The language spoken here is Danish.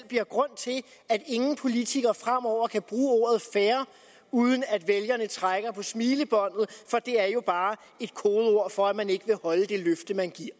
bliver grund til at ingen politiker fremover kan bruge ordet fair uden at vælgerne trækker på smilebåndet for det er jo bare et kodeord for at man ikke vil holde det løfte man giver